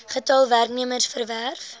getal werknemers gewerf